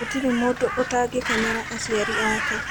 Gũtirĩ mũndũ ũtangĩkenera aciari ake.